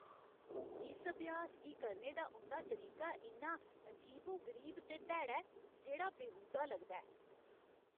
इस अभ्यास गी करने दा उं'दा तरीका इन्ना अजीबो गरीब ते भैड़ा ऐ जेह्ड़ा बेहूदा लगदा ऐ।